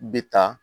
Bi ta